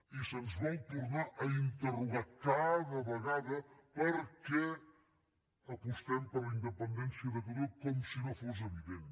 i se’ns vol tornar a interrogar cada vegada per què apostem per la independència de catalunya com si no fos evident